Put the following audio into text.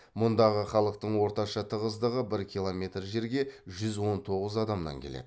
мұндағы халықтың орташа тығыздығы бір километр жерге жүз он тоғыз адамнан келеді